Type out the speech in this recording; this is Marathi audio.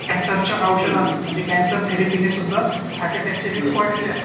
कॅन्सरच्या औषधाने म्हणजे कॅन्सर थेरीपीने सुद्धा हार्ट अटॅकचे वाढलेले आहेत